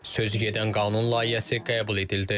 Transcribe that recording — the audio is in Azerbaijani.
Sözügedən qanun layihəsi qəbul edildi.